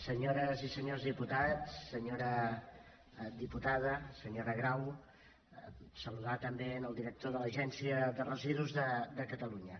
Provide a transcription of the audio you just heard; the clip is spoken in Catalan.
senyores i senyors diputats senyora diputada senyora grau saludar també el director de l’agència de residus de catalunya